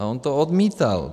A on to odmítal.